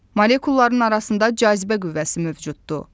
Molekulların arasında cazibə qüvvəsi mövcuddur.